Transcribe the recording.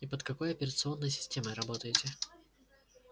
и под какой операционной системой работаете